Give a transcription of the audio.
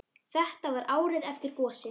Þetta var árið eftir gosið.